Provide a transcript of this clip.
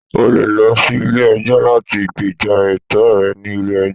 O le lọ sí ilé ẹjọ́ láti gbéjà ẹ̀tọ́ rẹ ni ilé ẹjọ́.